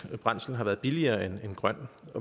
brændsel har været billigere end grøn